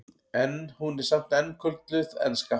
en hún er samt enn kölluð enska